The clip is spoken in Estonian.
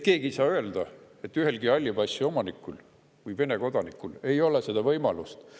Keegi ei saa öelda, et ühel halli passi omanikul või Vene kodanikul ei ole seda võimalust.